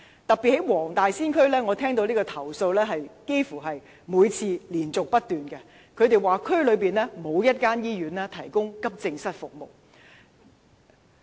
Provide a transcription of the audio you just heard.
特別是在黃大仙區，我收到的投訴幾乎是連續不斷的，市民說區內沒有一間醫院提供急症室服務。